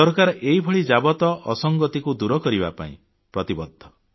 ସରକାର ଏଇଭଳି ଯାବତ ଅସଂଗତିକୁ ଦୂର କରିବା ପାଇଁ ପ୍ରତିବଦ୍ଧ